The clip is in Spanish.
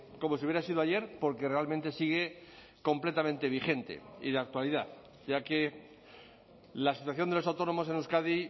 como si hubiera sido ayer porque realmente sigue completamente vigente y de actualidad ya que la situación de los autónomos en euskadi